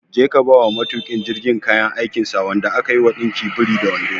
Je ka kaiwa matuƙin jirgin kayan aikinsa wanda aka yi wa ɗinkin biri da wando!